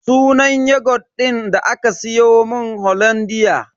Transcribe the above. Sunan yogut din da aka siyomun hollandia.